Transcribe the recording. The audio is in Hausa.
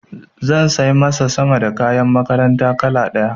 Za sai masa sama da kayan makaranta kala ɗaya.